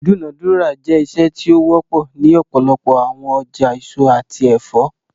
Idunadura jẹ iṣe ti o wọpọ ni ọpọlọpọ awọn ọja eso ati ẹfọ